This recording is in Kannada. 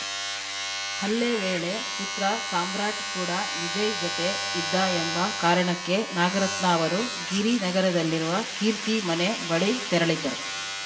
ಹಲ್ಲೆ ವೇಳೆ ಪುತ್ರ ಸಾಮ್ರಾಟ್‌ ಕೂಡ ವಿಜಯ್‌ ಜತೆ ಇದ್ದ ಎಂಬ ಕಾರಣಕ್ಕೆ ನಾಗರತ್ನ ಅವರು ಗಿರಿನಗರದಲ್ಲಿರುವ ಕೀರ್ತಿ ಮನೆ ಬಳಿ ತೆರಳಿದ್ದರು